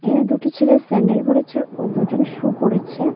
এই দুটি ছেলে স্যান্ডেল পরেছে ও দুজন সু পরেছে।